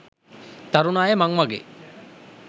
තරුණ අය මං වගේ